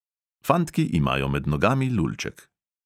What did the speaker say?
Fantki imajo med nogami lulček.